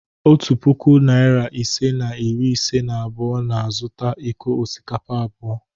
Otu puku, narị ise na iri ise na abụọ na-azụta iko osikapa abụọ.